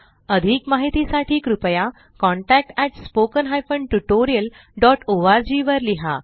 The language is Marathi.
अधिक माहिती साठी कृपया contactspoken tutorialorg वर लिहा